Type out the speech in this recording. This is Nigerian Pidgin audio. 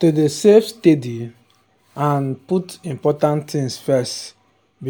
to dey save steady and um put important things first